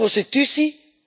In de prostitutie?